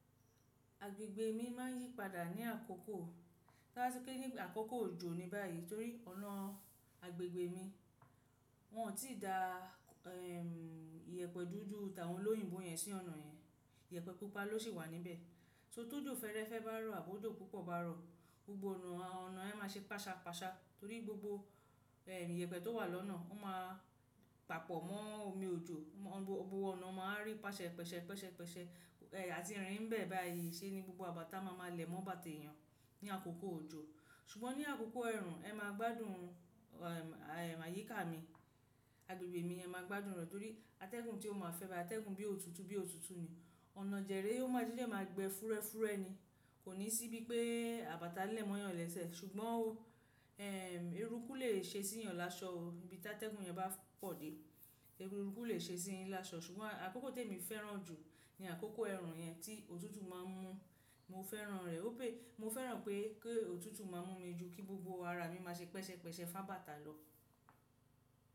Agbègbè mi ma n yípadà ní àkókò, láti kí ní àkókò òjò ni báyìí torí ọ̀nà agbègbè mi. Wọn o tíì da ìyẹ̀pẹ̀ dúdú tàwọn lóyìnbo yẹn sí ọ̀nà yẹn. Ìyẹ̀pẹ̀ púpà ló ṣì wà níbẹ̀. So, tójò fẹ́ẹ́rẹ́fẹ́ bá rọ̀ àbójò púpọ̀ bá rọ̀, gbogbo ọ̀nà yẹn, ọ̀nà yẹn máa ṣe páṣapàṣa torí gbogbo ìyẹ̀pẹ̀ tó wà lọ́nà, ó máa papọ̀ mọ́ omi òjò. Gbogbo ọ̀nà man rí pàṣẹ̀ pẹ̀ṣẹ̀ pẹ̀ṣẹ̀ pẹ̀ṣẹ̀ àti ìrìn bẹ̀ báyìí se ní gbogbo àbàtà ma ma lè mọ́ bàtà èyàn ní àkókò òjò. Ṣùgbọ́n ní àkókò ẹ̀ẹ̀run, ẹ máa gbádùn àyíká mi, agbègbè mi, ẹ máa gbádùn rẹ̀ torí atẹ́gùn tí ó máa fẹ́ báyìí, atẹ́gùn bí òtútù bí òtútù ni ọ̀nà dẹ̀ rèé o má jíjẹ ma gbẹ́ fúúrẹ́ fúúrẹ́ ni. Kò ní sí bí pé àbàtà lẹ̀ mọ́ yàn lẹ́sẹ̀. Ṣùgbọ́n ó, eruku lè ṣe sí yàn láṣọ o bí tí atẹ́gùn yẹn bá pọ̀ dé. Eruku lè ṣe sí yàn lásọ. Ṣùgbọ́n àkókò tí èmi fẹ́ràn jù ni àkókò ẹ̀rùn yẹn tí òtútù má n mú. Mo fẹ́ràn rẹ. Mo fẹ́ràn pé kí òtútù má mú mi ju kí gbogbo ara mi máa ṣe pẹ̀ṣẹ̀ pẹ̀ṣẹ̀ fá bàtà lọ.